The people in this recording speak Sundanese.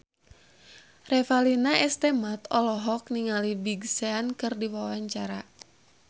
Revalina S. Temat olohok ningali Big Sean keur diwawancara